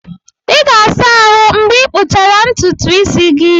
Ị ga-asa ahụ mgbe ịkpụchara ntutu isi gị.